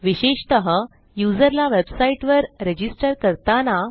विशेषतः युजरला वेबसाईटवर रजिस्टर करताना